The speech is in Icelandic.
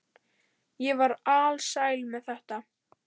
Ég var alsæl með þetta.